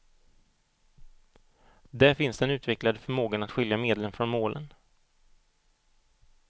Där finns den utvecklade förmågan att skilja medlen från målen.